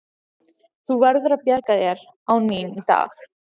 Þú verður að bjarga þér án mín í dag.